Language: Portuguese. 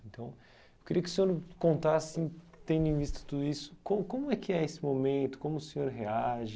Então, eu queria que o senhor contasse, tendo em vista tudo isso, co como é que é esse momento, como o senhor reage...